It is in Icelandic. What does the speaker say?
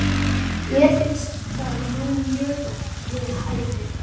Ásgeir Erlendsson: Þetta er svona ykkar uppskeruhátíð?